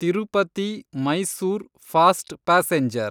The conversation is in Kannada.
Tirupati Mysore fast passenger